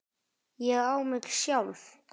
ÉG Á MIG SJÁLF!